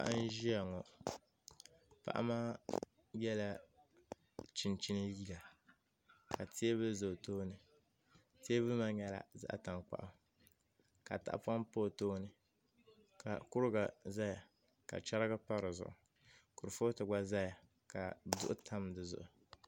Paɣa n ʒiya ŋo paɣa maa yɛla chinchin liiga ka teebuli ʒɛ o tooni teebuli maa nyɛla zaɣ tankpaɣu ka tahapoŋ pa o tooni ka kuriga ʒɛya ka chɛrigi pa dizuɣu kurifooti gba ʒɛya ka duɣu tam di zuɣu